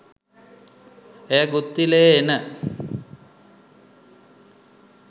එය ගුත්තිලයේ එන